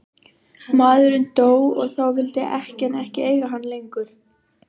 Maðurinn dó og þá vildi ekkjan ekki eiga hann lengur.